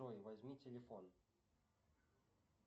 джой возьми телефон